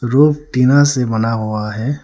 Roof टीना से बना हुआ है।